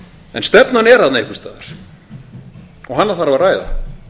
en stefnan er þarna einhvers staðar og hana þarf að ræða